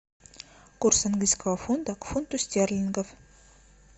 курс английского фунта к фунту стерлингов